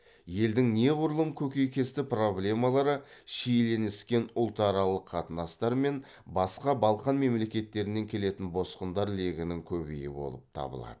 елдің неғұрлым көкейкесті проблемалары шиеленіскен ұлтаралық қатынастар мен басқа балқан мемлекеттерінен келетін босқындар легінің көбеюі болып табылады